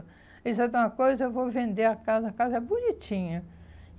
Ele disse sabe de uma coisa, eu vou vender a casa, a casa é bonitinha.